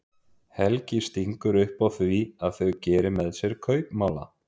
Helgi stingur upp á því að þau geri með sér kaupmála.